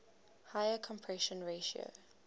higher compression ratio